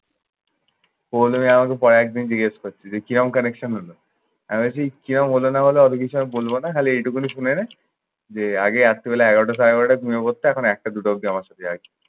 পল্লবী আমাকে কয়েকদিন জিজ্ঞেস করছে যে, কি রকম connection হলো? আমি বলছি কিরকম হলো না হলো আমি কিছু আমি বলব না। খালি এইটুকুনই শুনে নে যে, আগে রাত্রিবেলা এগারোটা সাড়ে এগারোটায় ঘুমিয়ে পড়তো এখন একটা দুটো অবধি আমার সাথে জাগে।